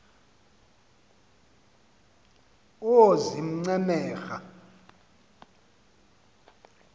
oozincemera